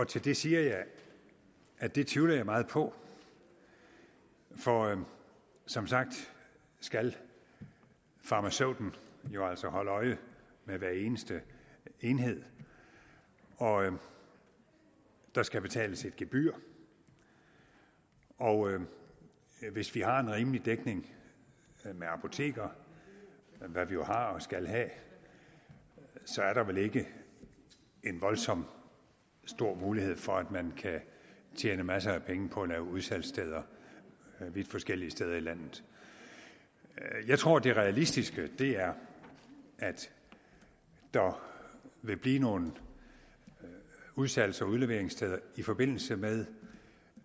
til det siger jeg at det tvivler jeg meget på for som sagt skal farmaceuten jo altså holde øje med hver eneste enhed og der skal betales et gebyr og hvis vi har en rimelig dækning med apoteker hvad vi jo har og skal have så er der vel ikke en voldsom stor mulighed for at man kan tjene masser af penge på at lave udsalgssteder vidt forskellige steder i landet jeg tror at det realistiske er at der vil blive nogle udsalgs og udleveringssteder i forbindelse med